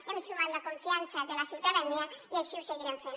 hem sumat la confiança de la ciutadania i així ho seguirem fent